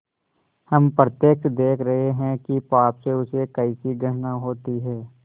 हम प्रत्यक्ष देख रहे हैं कि पाप से उसे कैसी घृणा होती है